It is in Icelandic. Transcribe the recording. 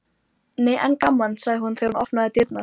Þá heyrist innan úr myrkvaðri höllinni óhugnanlegt hljóð.